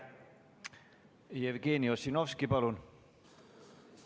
Jevgeni Ossinovski, palun!